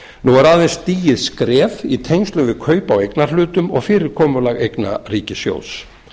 nú er aðeins stigið skref í tengslum við kaup á eignarhlutum og fyrirkomulag eigna ríkissjóðs